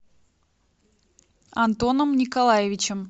антоном николаевичем